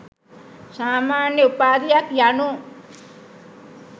සාමාන්‍ය උපාධියක් යනු